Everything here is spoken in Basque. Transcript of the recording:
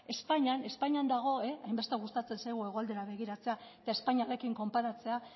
espainian espainian dago hainbeste gustatzen zaigu hegoaldera begiratzea eta espainiarrekin konparatzea